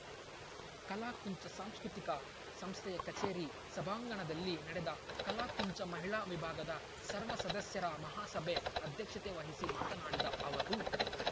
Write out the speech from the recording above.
ಕಲಾಕುಂಚ ಸಾಂಸ್ಕೃತಿಕ ಸಂಸ್ಥೆಯ ಕಚೇರಿ ಸಭಾಂಗಣದಲ್ಲಿ ನಡೆದ ಕಲಾಕುಂಚ ಮಹಿಳಾ ವಿಭಾಗದ ಸರ್ವ ಸದಸ್ಯರ ಮಹಾಸಭೆ ಅಧ್ಯಕ್ಷತೆ ವಹಿಸಿ ಮಾತನಾಡಿದ ಅವರು